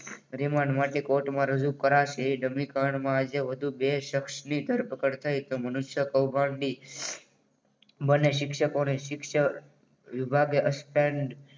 Remand માટે કોર્ટમાં રજૂ કરાશે. એ ડમીકાંડમાં જે વધુ બે શખ્સને ધરપકડ થઈ. તો મનુષ્ય કૌભાંડી બને શિક્ષકો અને શિક્ષણ વિભાગે